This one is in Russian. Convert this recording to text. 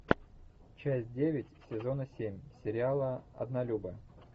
часть девять сезона семь сериала однолюбы